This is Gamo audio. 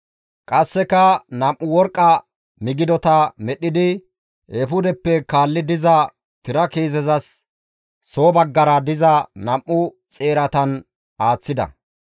Qasseka nam7u worqqa midigata medhdhidi eefudeppe kaalli diza tira kiisezas soo baggara diza nam7u xeeratan aaththida.